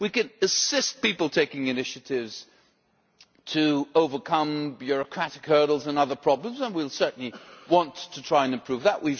We can assist people taking initiatives in overcoming bureaucratic hurdles and other problems, and we certainly want to try to improve that.